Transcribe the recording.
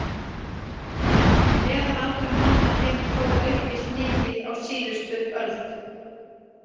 Meðalaldur manna hefur þó aukist mikið á síðustu öld.